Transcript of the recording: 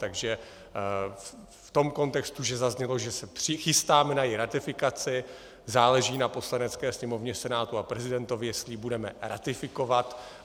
Takže v tom kontextu, že zaznělo, že se přichystáme na její ratifikaci, záleží na Poslanecké sněmovně, Senátu a prezidentovi, jestli ji budeme ratifikovat.